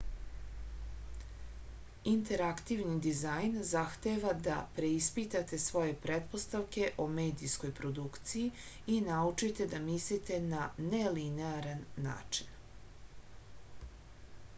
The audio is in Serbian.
interaktivni dizajn zahteva da preispitate svoje pretpostavke o medijskoj produkciji i naučite da mislite na nelinearan način